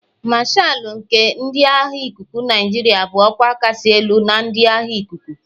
Mashalu nke ndị agha ikuku Nigeria bụ ọkwa kachasị elu na ndị agha ikuku.